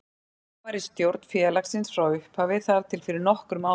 Ég var í stjórn félagsins frá upphafi þar til fyrir nokkrum árum.